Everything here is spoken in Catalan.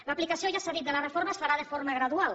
l’aplicació ja s’ha dit de la reforma es farà de forma gradual